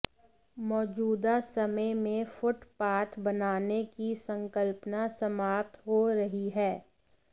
मौजूदा समय में फुटपाथ बनाने की संकल्पना समाप्त हो रही है